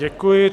Děkuji.